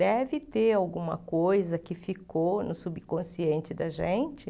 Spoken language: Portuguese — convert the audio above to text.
Deve ter alguma coisa que ficou no subconsciente da gente.